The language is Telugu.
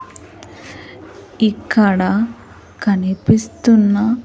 ఇక్కడ కనిపిస్తున్న --